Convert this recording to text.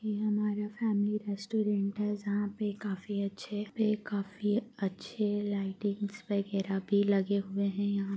यह हमारा family restaurant है जहाँ पे काफी अच्छे ये काफी अच्छे लइटिंग्स वैगरह भी लगे हुए हैं यहाँ --